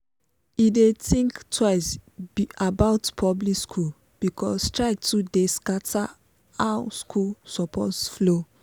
e dey think twice about public school because strike too dey scatter how school supposed flow.